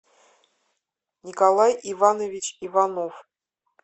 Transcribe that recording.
николай иванович иванов